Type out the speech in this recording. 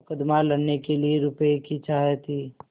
मुकदमा लड़ने के लिए रुपये की चाह थी